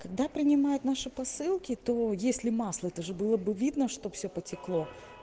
когда принимают наши посылки то если масло это же было бы видно что все потекло